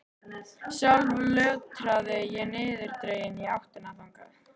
Sjálf lötraði ég niðurdregin í áttina þangað.